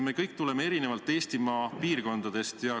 Me kõik tuleme Eestimaa eri piirkondadest.